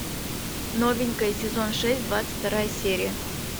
новенькая сезон шесть двадцать вторая серия